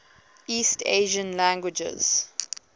east asian languages